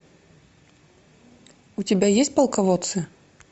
у тебя есть полководцы